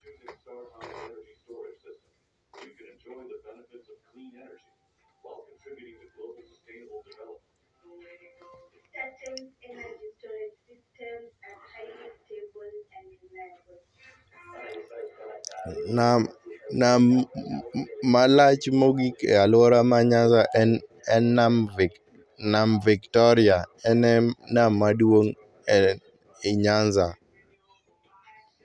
nam, nam malach mogik e alwora ma Nyanza en nam Victoria. En e nam maduong' ei Nyanza.